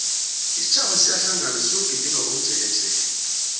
isitjhaba siyahlangana siyogidinga komjekejeke